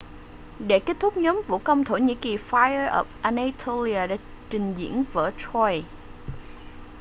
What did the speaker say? để kết thúc nhóm vũ công thổ nhĩ kỳ fire of anatolia đã trình diễn vở troy